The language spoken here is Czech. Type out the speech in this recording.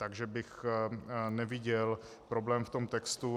Takže bych neviděl problém v tom textu.